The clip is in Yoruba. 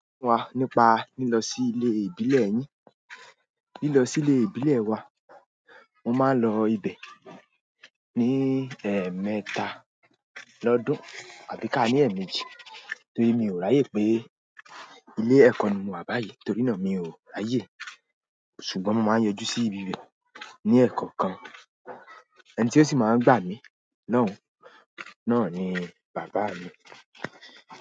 Wá nípa lílọ sí ilé ìbílẹ̀ yín. Lílọ sí ilé ìbílẹ̀ wa, mo máa ń lọ ibẹ̀ ní, ẹ̀mẹta lọ́dún àbí ká ní ẹ̀ẹ̀mejì torí mi ò ráyè pé ilé ẹ̀kọ́ ni mo wá báyìí torí náà mi ò ráyè. Ṣùgbọ́n mo máa ń yọjú sí ibi bẹ̀ ní ẹ̀kọ̀ọ̀kan, ẹni tí ó sì máa ń gbà mí lọ́hun náà ni bàbá mi.